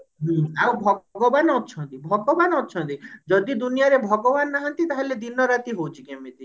ହୁଁ ଆଉ ଭଗବାନ ଅଛନ୍ତି ଭଗବାନ ଅଛନ୍ତି ଯଦି ଦୁନିଆ ରେ ଭଗବାନ ନାହାନ୍ତି ତାହେଲେ ଦିନ ରାତି ହଉଛି କେମିତି?